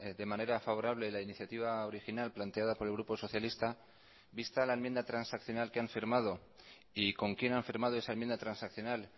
de manera favorable la iniciativa original planteada por el grupo socialista vista la enmienda transaccional que han firmado y con quien han firmado esa enmienda transaccional